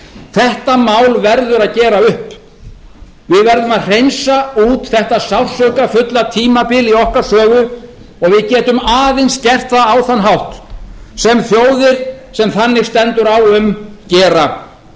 þetta mál verður að gera upp við verðum að hreinsa út þetta sársaukafulla tímabil í okkar sögu og við getum aðeins gert það á þann hátt sem þjóðir sem þannig stendur á um gera eins og